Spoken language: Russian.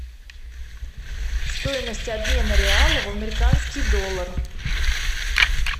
стоимость обмена реала в американский доллар